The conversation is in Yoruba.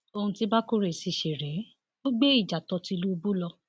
ohun tí bákórè sì ṣe rèé ò gbé ìjà tó tìlúbù lọ